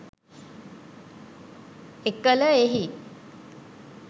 එකල එහි